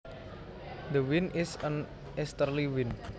The wind is an easterly wind